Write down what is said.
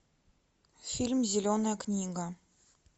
фильм зеленая книга